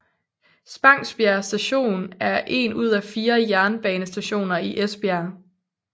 Spangsbjerg Station er en ud af 4 jernbanestationer i Esbjerg